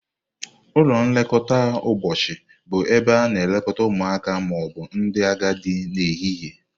Ụlọ nlekọta ụbọchị bụ ebe a na-elekọta ụmụaka ma ọ bụ ndị agadi n'ehihie.